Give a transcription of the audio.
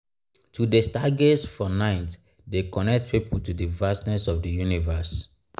to dey stargaze for nite dey connect pipo to di vastness of di universe.